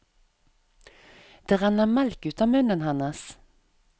Det renner melk ut av munnen hennes.